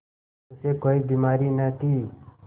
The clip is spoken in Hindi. उसे कोई बीमारी न थी